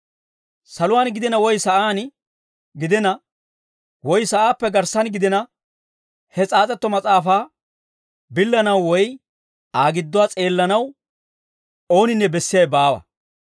Saluwaan gidina woy sa'aan gidina, woy sa'aappe garssan gidina, he s'aas'etto mas'aafaa billanaw woy Aa gidduwaa s'eellanaw ooninne bessiyaawe baawa.